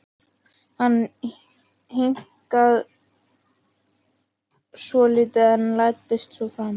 Hann hikaði svolítið en læddist svo fram.